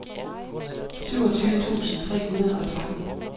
syvogtyve tusind tre hundrede og tretten